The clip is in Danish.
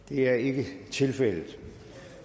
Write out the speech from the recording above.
det er ikke tilfældet og